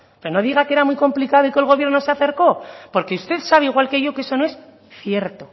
pero no diga que era muy complicado y que el gobierno se acercó porque usted sabe igual que yo que eso no es cierto